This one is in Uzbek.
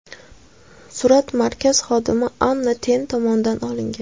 Surat markaz xodimi Anna Ten tomonidan olingan.